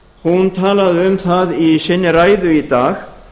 hún talaði um það í sinni ræðu í dag